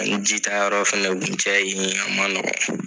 Ani ji ta yɔrɔ fɛnɛ kun kɛrɛ yen ye, a ma nɔgɔn.